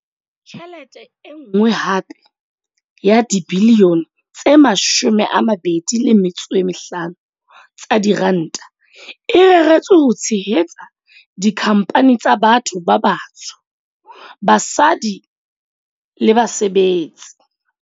Tjhelete e nngwe hape ya dibilione tse 25 tsa diranta e reretswe ho tshehetsa dikhampani tsa batho ba batsho, basadi le basebetsi.